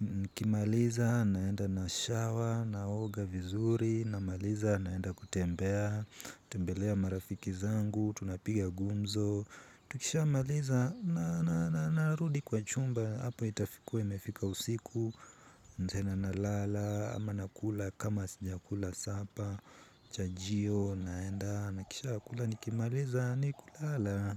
Nikimaliza, naenda nashower, naoga vizuri, namaliza, naenda kutembea, tembelea marafiki zangu, tunapiga gumzo. Tukishamaliza na narudi kwa chumba hapa itakuwa imefika usiku. Nitaenda nalala ama nakula kama sijakula sapa. Chajio naenda nakisha kula nikimaliza ni kulala.